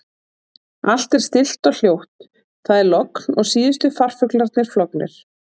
Allt er stillt og hljótt- það er logn og síðustu farfuglarnir flognir.